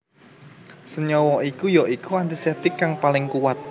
Senyawa iki ya iku antiseptik kang paling kuwat